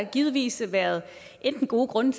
givetvis været enten gode grunde